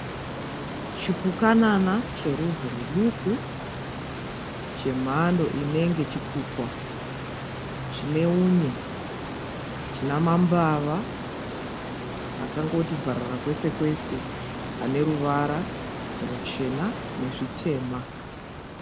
Chipukanana cherudzi rwuduku. Chemhando inenge chikukwa. Chine unye, china mambava akangoti bvarara kwese kwese aneruvara ruchena nezvitema.